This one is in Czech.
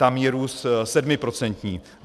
Tam je růst sedmiprocentní.